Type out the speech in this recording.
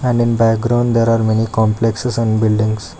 And in background there are many complexes and buildings.